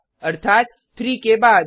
अर्थात 3 के बाद